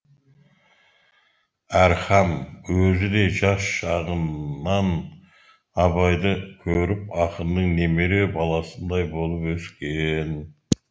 әрхам өзі де жас шағыннан абайды көріп ақынның немере баласындай болып өскен